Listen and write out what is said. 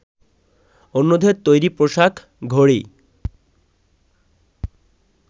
অন্যদের তৈরি পোশাক, ঘড়ি